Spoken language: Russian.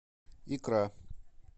икра